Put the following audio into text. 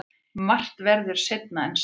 Margt verður seinna en segir.